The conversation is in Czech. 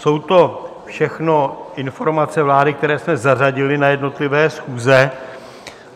Jsou to všechno informace vlády, které jsme zařadili na jednotlivé schůze.